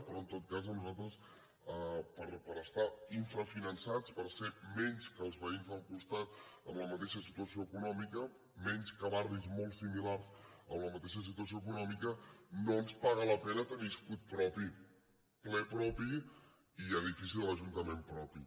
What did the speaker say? però en tot cas a nosaltres per estar infrafinançats per ser menys que els veïns del costat amb la mateixa situació econòmica menys que barris molt similars en la mateixa situació econòmica no ens paga la pena tenir escut propi ple propi i edifici de l’ajuntament propi